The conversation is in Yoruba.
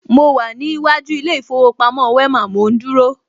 Mo wà ní iwájú ilé ìfowópamọ́ Wema, mò ń dúró